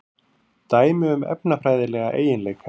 Dæmi um efnafræðilega eiginleika.